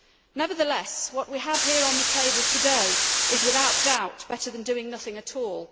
Nevertheless, what we have here on the table today is, without doubt, better than doing nothing at all.